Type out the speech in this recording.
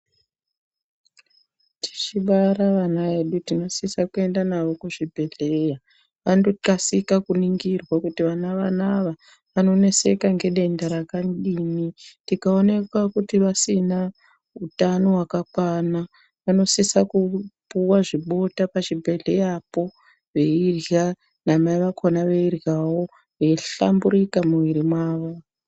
Tichibara ana edu tinosisa kuenda nawo kuzvibhedhleya andokasika kuningirwe kuti vana vanava vanoneseka ngedenda rakadini tikaonekwa kuti vanenge vasina utano hwakakwana vanosisa kupuwa zvibota pachibhedhleya po veirya naimai vakhona veiryawo veihlamburika mumwiri mwawo.